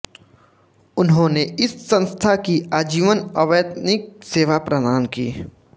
उन्होंने इस संस्था की आजीवन अवैतनिक सेवा प्रदान की